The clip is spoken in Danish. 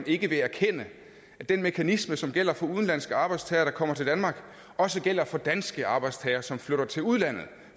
ikke erkende at den mekanisme som gælder for udenlandske arbejdstagere der kommer til danmark også gælder for danske arbejdstagere som flytter til udlandet